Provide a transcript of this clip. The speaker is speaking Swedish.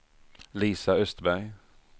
Lisa Östberg